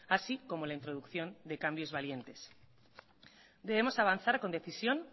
así como la introducción de cambios valientes debemos avanzar con decisión